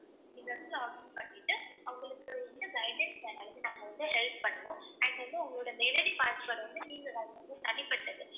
நீங்க வந்து login பண்ணிட்டு உங்களுக்கு வந்து guidelines நாங்க வந்து help பண்ணுவோம் and வந்து உங்களோட mail ID password வந்து நீங்கதான் தனிப்பட்டது.